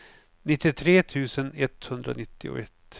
nittiotre tusen etthundranittioett